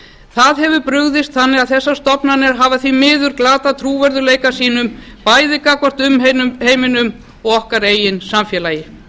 það hefur brugðist þannig að þessar stofnanir hafa því miður glatað trúverðugleika sínum bæði gagnvart umheiminum og okkar eigin samfélagi